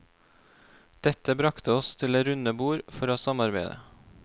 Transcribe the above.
Dette brakte oss til det runde bord for å samarbeide.